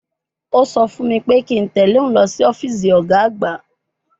Ó sọ fún mi pé kí n tẹ̀ lé òun lọ sí ọ́fíìsì ọ̀gá àgbà